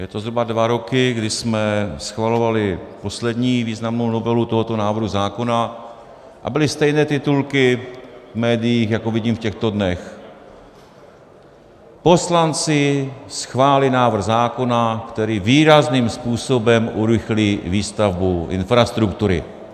Je to zhruba dva roky, kdy jsme schvalovali poslední významnou novelu tohoto návrhu zákona, a byly stejné titulky v médiích, jako vidím v těchto dnech: Poslanci schválili návrh zákona, který výrazným způsobem urychlí výstavbu infrastruktury.